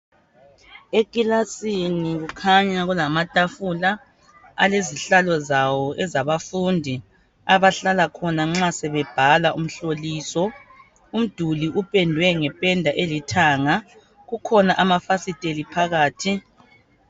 Ekilasini kukhanya kula kulamatafula alezihlalo zawo ezabafundi abahlala khona nxa sebebhala umhloliso. Umduli uphendwe ngephenda elithanga, kukhona amafasiteli phakathi.